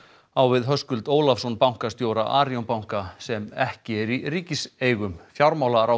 á við Höskuld Ólafsson bankastjóra Arion banka sem ekki er í ríkiseigu fjármálaráðherra